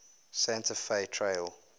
santa fe trail